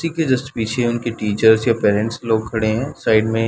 उसकी जस्ट पीछे उनके टीचर या पेरेंट्स लोग खड़े है साइड में--